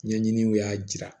Ɲɛɲininiw y'a jira